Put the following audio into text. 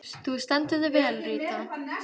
Þú stendur þig vel, Ríta!